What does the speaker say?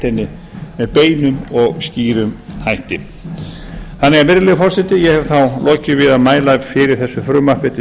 henni með beinum og skýrum hætti virðulegi forseti ég hef þá lokið við að mæla fyrir þessu frumvarpi til